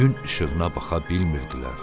Gün işığına baxa bilmirdilər.